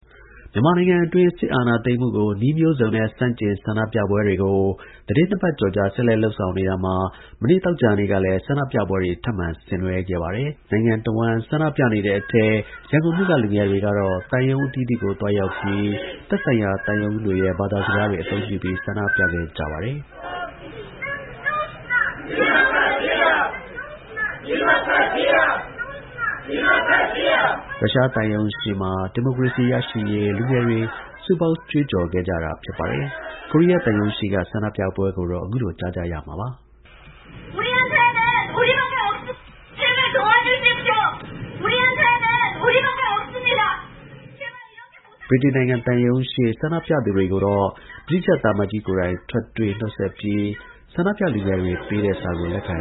မြန်မာနိုင်ငံအတွင်း စစ်အာဏာသိမ်းမှုကို နည်းမျိုးစုံနဲ့ ဆန့်ကျင် ဆန္ဒပြပွဲတွေကို သီတင်းနှစ်ပတ်ကျော်ကြာ ဆက်လက် လုပ်ဆောင် နေတာမှာ မနေ့သောကြာနေ့ကလည်း ဆန္ဒပြပွဲတွေ ထပ်မံ ဆင်နွှဲခဲ့ပါတယ်။ နိုင်ငံတဝှမ်း ဆန္ဒပြနေတဲ့အထဲ ရန်ကုန်မြို့က လူငယ်တွေ ကတော့ သံရုံး အသီးသီးကို သွားရောက်ပြီး သက်ဆိုင်ရာ သံရုံးတွေရဲ့ ဘာသာစကားတွေ အသုံးပြုပြီး ဆန္ဒပြခဲ့ကြပါတယ်။ ရုရှားသံရုံးရှေ့မှာ ဒီမိုကရေစီ ရရှိရေး လူငယ်တွေ စုပေါင်း ကြွေးကြော်ခဲ့ကြတာပါ။ ကိုရီးယား သံရုံးရှေ့က ဆန္ဒပြပွဲကိုလည်း ကိုရီးယားဘာသာစကားနဲ့ ကြွေးကြော်ခဲ့ကြတာပါ။ ဗြိတိန်သံရုံးရှေ့မှာ ဆန္ဒပြသူတွေကိုတော့ သံအမတ်ကြီးကိုယ်တိုင် ထွက်တွေ့ နှုတ်ဆက်ပြီး ဆန္ဒပြလူငယ်တွေပေးတဲ့ စာကို လက်ခံ